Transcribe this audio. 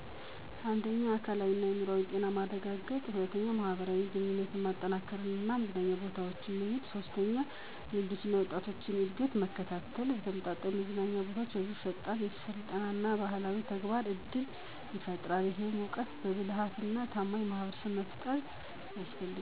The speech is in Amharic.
1. የአካልና የአዕምሮ ጤናማ ማረጋገጥ መዝናኛ ቦታዎች እንደ ፓርኮች፣ የስፖርት መስኮች እና የመናፈሻ ቦታዎች ሰዎችን በአካላዊ እና በአምሮአዊ እንቅስቃሴ እንዲኖራቸው ያደርጋል 2. የማህበራዊ ግንኙነት መጠናከር መዝናኛ ቦታዎች ሰዎችን፣ ከቤተሰቦቻቸው፣ ከጓደኞቻቸው፣ ከወዳጅ ዘመዶቻቸው ጋር እንደገናኙ ያደርጋሉ 3. የልጆች እና ወጣቶች እድገት መከታተል ተመጣጣኝ መዝናኛ ቦታዎች ለልጆች የፈጠራ፣ የስልጠና እና የባህላዊ ተግባር እድል ይፈጥራል። ይህም እውቀት፣ ብልህነትና ታማኝ ማህበረሰብን ለመፍጠር አስፈላጊው